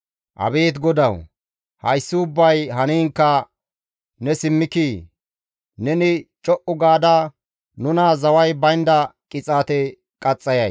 Abeet GODAWU, hayssi ubbay haniinkka ne simmikii? Neni co7u gaada nuna zaway baynda qixaate qaxxayay?